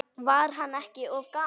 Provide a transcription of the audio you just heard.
Var hann ekki of gamall?